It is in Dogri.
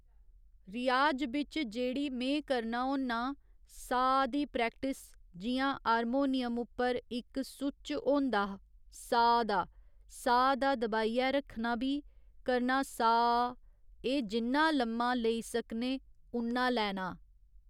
रियाज बिच्च जेह्ड़ी में करना होन्ना साऽ दी प्रैक्टिस जि'यां हारमोनियम उप्पर इक सुच्च होंदा साऽ दा साऽ दा दबाइयै रक्खना भी करना साऽऽऽऽऽ एह् जिन्ना लम्मा लेई सकने उन्ना लैना